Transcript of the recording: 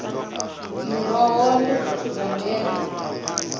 miroho ndi zwithu zwa ndeme